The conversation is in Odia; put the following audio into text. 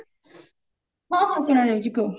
ହଁ ହଁ ଶୁଣାଯାଉଛି କୁହ